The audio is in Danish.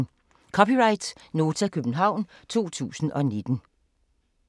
(c) Nota, København 2019